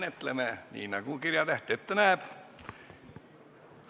Menetleme seda nii, nagu kirjatäht ette näeb.